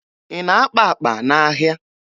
Ị na-akpa akpa n'ahịa?